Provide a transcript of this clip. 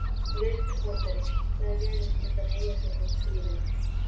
Virtur borgari, sagði Venus undan Eyjafjöllum stríðin.